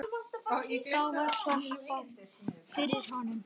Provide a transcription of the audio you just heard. Þá var klappað fyrir honum.